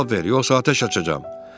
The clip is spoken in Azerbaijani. Cavab ver, yoxsa atəş açacağam.